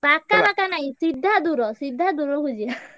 ପାଖା ବାକା ନାହିଁ ସିଧା ଦୂର ସିଧା ଦୁରୁକୁ ଯିବା